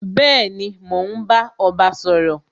Bẹẹni, mo ń bá ọba sọ̀rọ̀